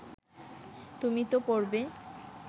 তুমি তো পড়বে